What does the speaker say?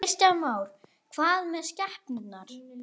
Kristján Már: Hvað með skepnur?